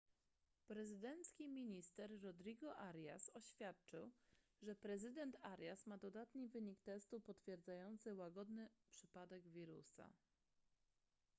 prezydencki minister rodrigo arias oświadczył że prezydent arias ma dodatni wynik testu potwierdzający łagodny przypadek wirusa